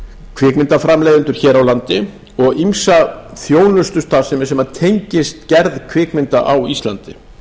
kvikmyndaframleiðendur hér á landi og ýmsa þjónustustarfsemi sem tengist gerð kvikmynda á íslandi